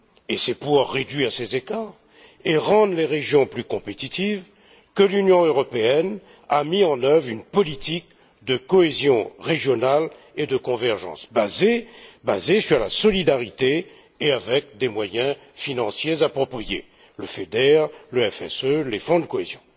Et c'est pour réduire ces écarts et rendre les régions plus compétitives que l'Union européenne a mis en œuvre une politique de cohésion régionale et de convergence basée sur la solidarité et dotée des moyens financiers appropriés le FEDER, le FSE, les fonds de cohésion.